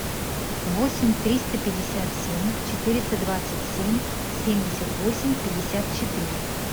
восемь триста пятьдесят семь четыреста двадцать семь семьдесят восемь пятьдесят четыре